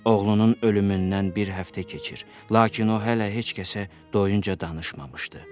Oğlunun ölümündən bir həftə keçir, lakin o hələ heç kəsə doyunca danışmamışdı.